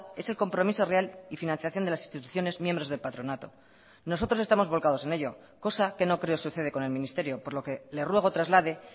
es el compromiso real y financiación de las instituciones miembros del patronato nosotros estamos volcados en ello cosa que no creo sucede con el ministerio por lo que le ruego traslade